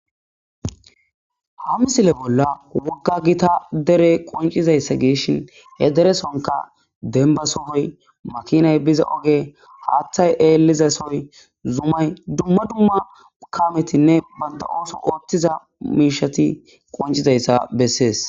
Ha misile bolla wogga gitta dere qoncizayssa gidishin he deresonkka demba sohoy, makinay biza ogey, haaththay eeliza sohoy zumay dumma dumma kaametinne bantta ooso ootiza mishati qonccidayssa besees.